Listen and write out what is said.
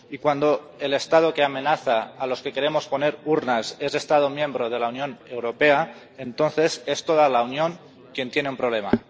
Y cuando el Estado que amenaza a los que queremos poner urnas es un Estado miembro de la Unión Europea, entonces es toda la Unión quien tiene un problema.